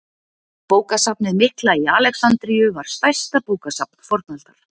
Bókasafnið mikla í Alexandríu var stærsta bókasafn fornaldar.